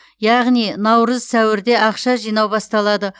яғни наурыз сәуірде ақша жинау басталады